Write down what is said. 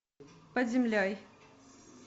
под землей